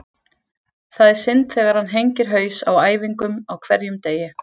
Það er synd þegar hann hengir haus á æfingum á hverjum degi.